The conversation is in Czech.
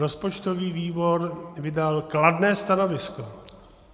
Rozpočtový výbor vydal kladné stanovisko.